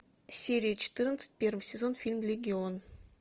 серия четырнадцать первый сезон фильм легион